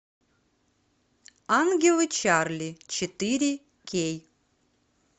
ангелы чарли четыре кей